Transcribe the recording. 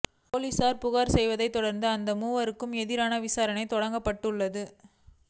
போலீசில் புகார் செய்ததைத் தொடர்ந்து அந்த மூவருக்கு எதிரான விசாரணை தொடங்கப்பட்டுள்ளது